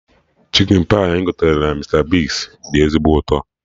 Chikin pai anyị gotere na Mista Bigz dị ezigbo ụtọ